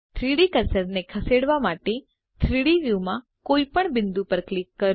3ડી કર્સરને ખસેડવા માટે 3ડી વ્યુમાં કોઈપણ બિંદુ પર ક્લિક કરો